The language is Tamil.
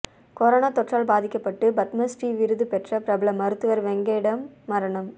கொரோனா தொற்றால் பாதிக்கப்பட்டு பத்மஸ்ரீ விருது பெற்ற பிரபல மருத்துவர் திருவேங்கடம் மரணம்